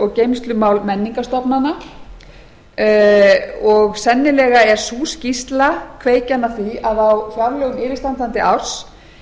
og geymslumál menningarstofnana sennilega er sú skýrsla kveikjan að því að á fjárlögum yfirstandandi árs